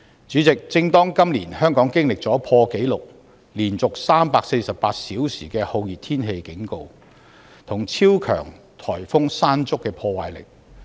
主席，香港今年經歷了破紀錄、連續348小時的酷熱天氣警告，以及超強颱風山竹的破壞。